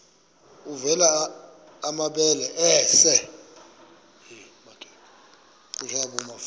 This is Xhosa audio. avela amabele esel